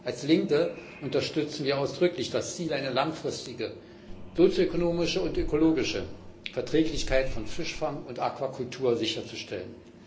Als Linke unterstützen wir ausdrücklich das Ziel, eine langfristige, ökonomische und ökologische Verträglichkeit von Fischfang und Aquakultur sicherzustellen.